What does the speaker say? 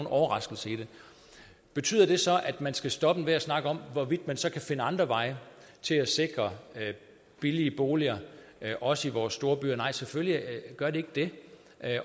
overraskelse i det betyder det så at man skal stoppe enhver snak om hvorvidt man så kan finde andre veje til at sikre billige boliger også i vore storbyer nej selvfølgelig gør det ikke det